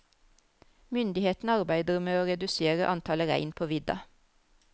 Myndighetene arbeider med å redusere antallet rein på vidda.